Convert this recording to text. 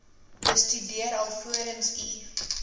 bestudeer alvorens u